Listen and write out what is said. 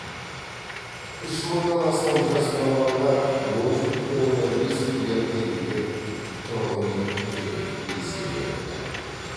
үш мыңнан астам жас маманға он үш бүтін оннан бес миллиард теңгеге тұрғын үй бюджеттік несие берілді